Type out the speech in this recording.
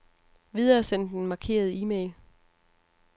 Videresend den markerede e-mail.